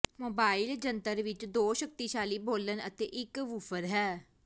mobile ਜੰਤਰ ਵਿੱਚ ਦੋ ਸ਼ਕਤੀਸ਼ਾਲੀ ਬੋਲਣ ਅਤੇ ਇਕ ਵੂਫ਼ਰ ਹੈ